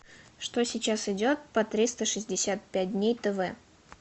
что сейчас идет по триста шестьдесят пять дней тв